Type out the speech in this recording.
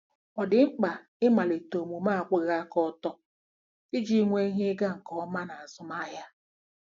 Ọ̀ dị mkpa ịmalite omume akwụwaghị aka ọtọ iji nwee ihe ịga nke ọma n'ịzụ ahịa?